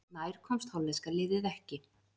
Nær komst hollenska liðið ekki